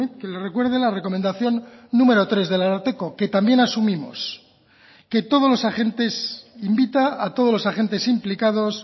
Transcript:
que le recuerde la recomendación número tres del ararteko que también asumimos que todos los agentes invita a todos los agentes implicados